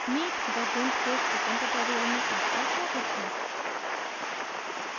meet the gimp के spoken tutorial में आपका स्वागत है